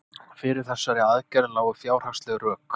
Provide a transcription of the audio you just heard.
Fyrir þessari aðgerð lágu fjárhagsleg rök.